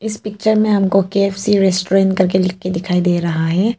इस पिक्चर में हमको के_एफ_सी रेस्टोरेंट करके लिखके दिखाई दे रहा है।